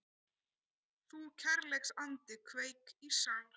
Þú kærleiksandi kveik í sál